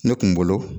Ne kun bolo